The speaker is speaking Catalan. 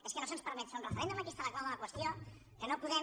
és que no se’ns permet fer un referèndum aquí està la clau de la qües·tió que no podem